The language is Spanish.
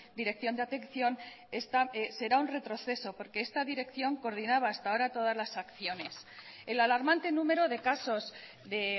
dirección de atención esta será un retroceso porque esta dirección coordinaba hasta ahora todas las acciones el alarmante número de casos de